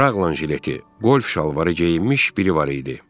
Raqlan jileti, qolf şalvarı geyinmiş biri var idi.